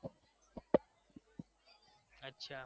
અચ્છા